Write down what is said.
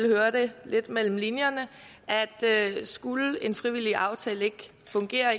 hørte lidt mellem linjerne at skulle en frivillig aftale ikke fungere